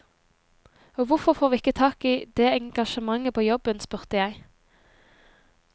Og hvorfor får vi ikke tak i det engasjementet på jobben, spurte jeg.